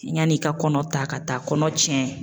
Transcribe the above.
Yani i ka kɔnɔ ta ka taa kɔnɔ tiɲɛ